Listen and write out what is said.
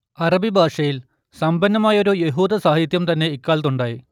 അറബി ഭാഷയിൽ സമ്പന്നമായൊരു യഹൂദസാഹിത്യം തന്നെ ഇക്കാലത്തുണ്ടായി